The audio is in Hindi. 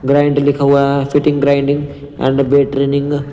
ग्राइंड लिखा हुआ है fitting grinding and weight training --